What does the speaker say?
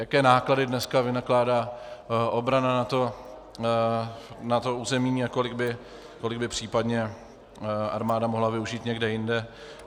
Jaké náklady dneska vynakládá obrana na to území a kolik by případně armáda mohla využít někde jinde.